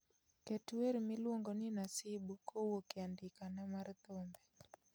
ket wer miluongo ni nasibu kowuok e andikena mar thumbe